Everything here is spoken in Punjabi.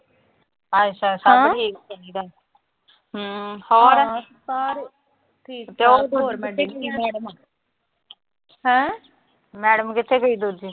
ਅੱਛਾ-ਅੱਛਾ ਸਭ ਠੀਕ ਚਾਹੀਦਾ। ਹਮ ਹੋਰ। ਮੈਡਮ ਕਿੱਥੇ ਗਈ ਦੂਜੀ।